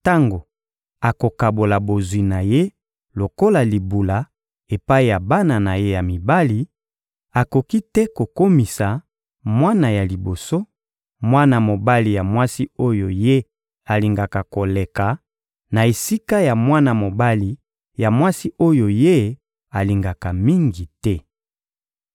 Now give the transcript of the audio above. tango akokabola bozwi na ye lokola libula epai ya bana na ye ya mibali; akoki te kokomisa mwana ya liboso, mwana mobali ya mwasi oyo ye alingaka koleka na esika ya mwana mobali ya mwasi oyo ye alingaka mingi te.